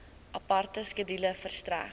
aparte skedule verstrek